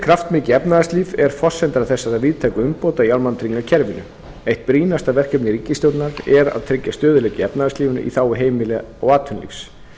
kraftmikið efnahagslíf er forsenda þessara víðtæku umbóta í almannatryggingakerfinu eitt brýnasta verkefni ríkisstjórnar er að tryggja stöðugleika í efnahagslífinu í þágu heimila og atvinnulífs